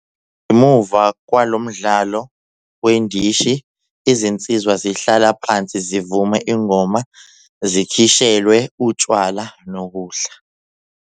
Ngemuva kwalo mdlalo wendishi izinsizwa zihlala phansi zivume ingoma zikhishelwe utshwala nokudla.